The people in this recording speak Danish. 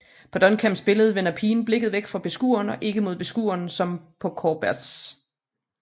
På Duchamps billede vender pigen blikket væk fra beskueren og ikke mod beskueren som på Courbets